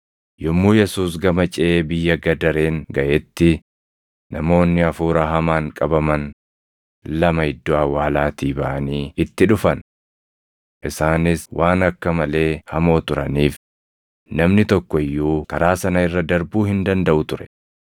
Yommuu Yesuus gama ceʼee biyya Gadareen gaʼetti, namoonni hafuura hamaan qabaman lama iddoo awwaalaatii baʼanii itti dhufan. Isaanis waan akka malee hamoo turaniif namni tokko iyyuu karaa sana irra darbuu hin dandaʼu ture.